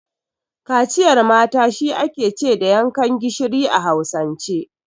Kaciyar mata shi ake ce da yankan gishiri a Hausance.